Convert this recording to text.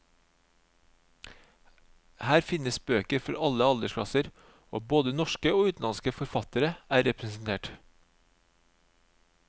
Her finnes bøker for alle aldersklasser, og både norske og utenlandske forfattere er representert.